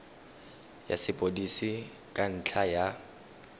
ya sepodisi ka ntlha ya